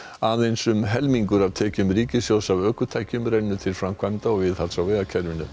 aðeins um helmingur af tekjum ríkissjóðs af ökutækjum rennur til framkvæmda og viðhalds á vegakerfinu